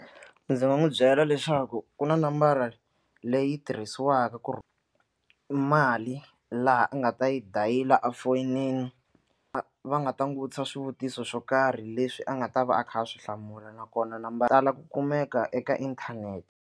Ndzi nga n'wi byela leswaku ku na nambara leyi tirhisiwaka ku ri mali laha a nga ta yi dayila efoyinini a va nga ta n'wi vutisa swivutiso swo karhi leswi a nga ta va a kha a swi hlamula nakona nambara ku kumeka eka inthanete.